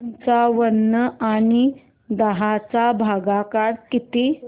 पंचावन्न आणि दहा चा भागाकार किती